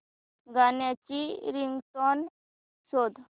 गाण्याची रिंगटोन शोध